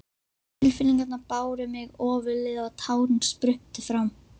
Tilfinningarnar báru mig ofurliði og tárin spruttu fram.